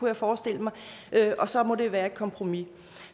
jeg forestille mig og så måtte det være et kompromis